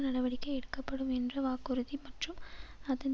நடவடிக்கை எடுக்கப்படும் என்ற வாக்குறுதி மற்றும் அதன்